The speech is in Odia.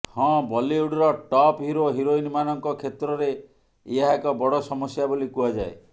ହଁ ବଲିଉଡର ଟପ୍ ହିରୋ ହିରୋଇନମାନଙ୍କ କ୍ଷେତ୍ରରେ ଏହା ଏକ ବଡ଼ ସମସ୍ୟା ବୋଲି କୁହାଯାଏ